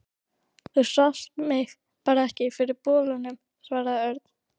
Þú sást mig bara ekki fyrir bolanum, svaraði Örn.